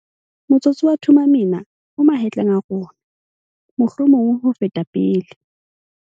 Motsotso wa Thuma Mina o mahetleng a rona, mohlomong ho feta pele.